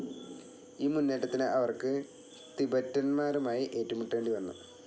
ഈ മുന്നേറ്റത്തിന്, അവർക്ക് തിബറ്റന്മാരുമായി ഏറ്റുമുട്ടേണ്ടി വന്നു.